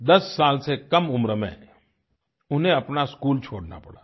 दस साल से कम उम्र में उन्हें अपना स्कूल छोड़ना पड़ा था